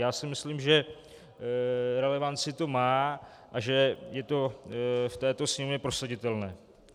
Já si myslím, že relevanci to má a že je to v této Sněmovně prosaditelné.